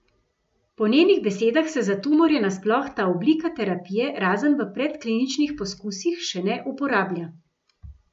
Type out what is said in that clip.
Po njenih besedah se za tumorje nasploh ta oblika terapije razen v predkliničnih poskusih še ne uporablja.